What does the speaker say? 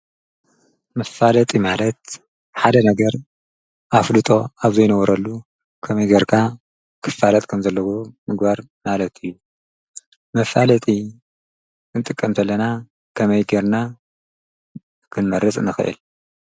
መፋለጢ ማለት ሓደ ነገር ኣፍለጦ ኣብ ዘይነበሮ ከመይ ጌርካ ክፋለጥ ከምዘለዎ ምግባር ማለት እዩ፡፡ መፋለጢ ክንጥቀም ተለና ከመይ ጌርና ኽንመርጽ ንኽእል?